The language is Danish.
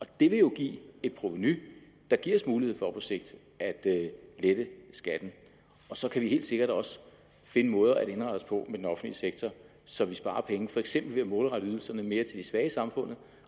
det vil jo give et provenu der giver os mulighed for på sigt at lette skatten og så kan vi helt sikkert også finde måder at indrette os på med den offentlige sektor så vi sparer penge for eksempel ved at målrette ydelserne mere til de svage i samfundet